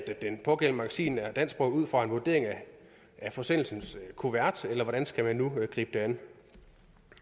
at det pågældende magasin er dansksproget ud fra en vurdering af forsendelsens kuvert eller hvordan skal man nu gribe det an